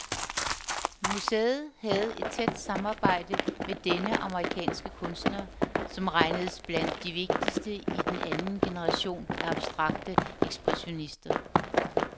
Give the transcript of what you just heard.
Museet havde et tæt samarbejde med denne amerikanske kunstner, som regnedes blandt de vigtigste i den anden generation af abstrakte ekspressionister.